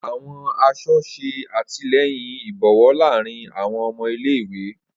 Awọn aṣọ ṣe atilẹyin ibowo laarin awọn ọmọ ile-iwe.